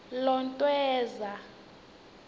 lontweza